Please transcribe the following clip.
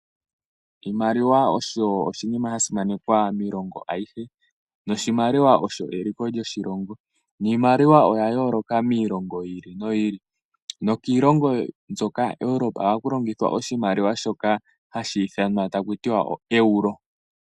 Oshimaliwa osho oshinima sha simanekwa miilongo ayihe noshimaliwa osho eliko lyo shilongo niimaliwa oya yooloka miilongo yi ili noyi ili nokiilongo mbyoka yo kwe Eupora ohaku longithwa oshimaliwa shoka haku ithanwa oEuro.